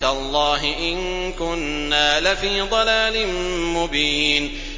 تَاللَّهِ إِن كُنَّا لَفِي ضَلَالٍ مُّبِينٍ